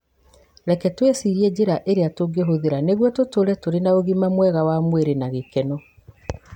Rekei twĩcirie njĩra iria tũngĩhũthĩra nĩguo tũtũũre tũrĩ na ũgima mwega wa mwĩrĩ na gĩkeno.